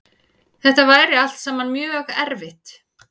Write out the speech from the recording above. Þetta væri allt saman mjög erfitt